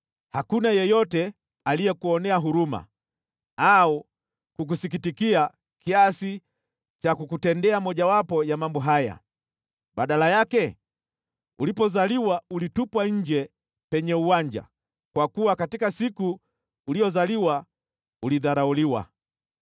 Hakuna yeyote aliyekuonea huruma au kukusikitikia kiasi cha kukutendea mojawapo ya mambo haya. Badala yake, ulipozaliwa ulitupwa nje penye uwanja, kwa kuwa katika siku uliyozaliwa ulidharauliwa.